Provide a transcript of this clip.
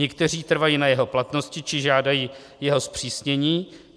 Někteří trvají na jeho platnosti či žádají jeho zpřísnění.